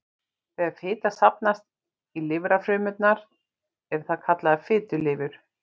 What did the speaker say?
Þegar fita safnast í lifrarfrumurnar er það kallað fitulifur.